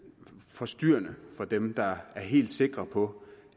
forstyrrende for dem der er helt sikre på